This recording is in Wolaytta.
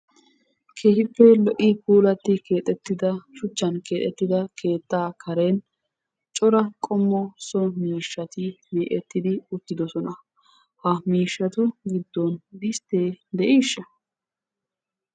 keehippe lo'i puullati keexettida shuchchan keexxettida keettaa karen cora qommo so miishshati mee'ettidi uttidosona. ha miishshatu giddon distee de'iishsha?